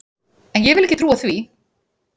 En ég vil ekki trúa því!